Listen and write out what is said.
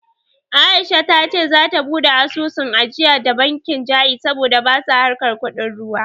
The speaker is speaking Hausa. Aisha ta ce za ta buɗe asusun ajiya da bankin Ja'iz saboda basa harkar kuɗin ruwa